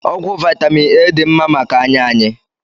Ọgwụ vitamin A dị mma maka anya anyị